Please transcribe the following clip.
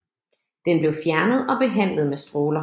Den blev fjernet og behandlet med stråler